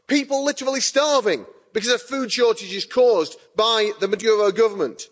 People are literally starving because of food shortages caused by the Maduro government.